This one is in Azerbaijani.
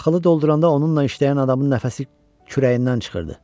Taxılı dolduranda onunla işləyən adamın nəfəsi kürəyindən çıxırdı.